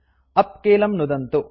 उप् कीलं नुदन्तु